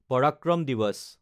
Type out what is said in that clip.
পৰাক্ৰম দিৱাচ